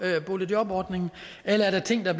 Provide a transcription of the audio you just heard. boligjobordningen eller ting der